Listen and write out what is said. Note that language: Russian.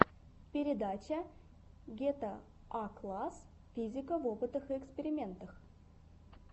передача гетаакласс физика в опытах и экспериментах